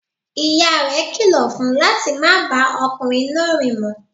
Ìyá rẹ̀ kilọ̀ fun láti má bá ọmọkùnrin náà rìn mọ.